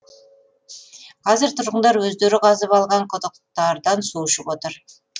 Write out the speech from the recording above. қазір тұрғындар өздері қазып алған құдықтардан су ішіп отыр